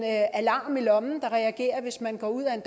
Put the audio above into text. alarm i lommen der reagerer hvis man går ud af en